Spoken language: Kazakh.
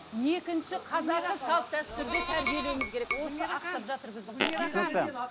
екінші қазақы салт дәстүрде тәрбиелеуіміз керек түсінікті